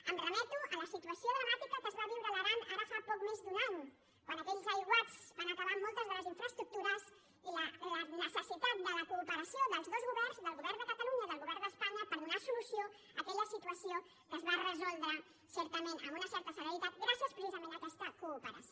em remeto a la situació dramàti·ca que es va viure a l’aran ara fa poc més d’un any quan aquells aiguats van acabar amb moltes de les in·fraestructures i la necessitat de la cooperació dels dos governs del govern de catalunya i del govern d’es·panya per donar solució a aquella situació que es va resoldre certament amb una certa celeritat gràcies precisament a aquesta cooperació